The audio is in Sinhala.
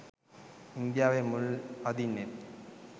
ඉන්දියාවේ මුල් අදින්නෙත්